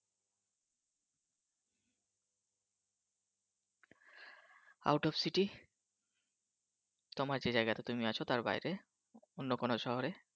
Out । তোমার যে জায়গাটা তুমি আছো তার বাইরে অন্য কোন শহরে।